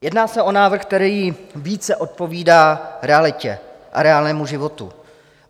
Jedná se o návrh, který více odpovídá realitě a reálnému životu.